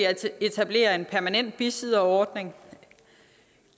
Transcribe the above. etablerer en permanent bisidderordning